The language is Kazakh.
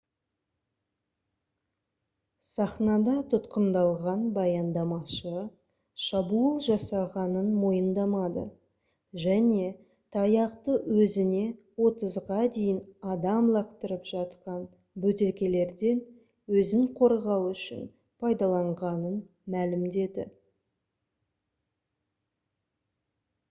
сахнада тұтқындалған баяндамашы шабуыл жасағанын мойындамады және таяқты өзіне отызға дейін адам лақтырып жатқан бөтелкелерден өзін қорғау үшін пайдаланғанын мәлімдеді